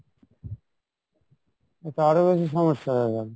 এ তো আরো বেশি সমস্যা হয়ে গেলো